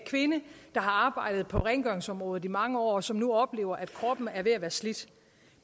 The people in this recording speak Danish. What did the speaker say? kvinde der har arbejdet på rengøringsområdet i mange år og som nu oplever at kroppen er ved at være slidt